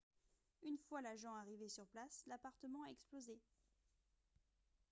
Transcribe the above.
une fois l'agent arrivé sur place l'appartement a explosé